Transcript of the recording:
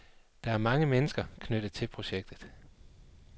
Der er mange mennesker knyttet til projektet.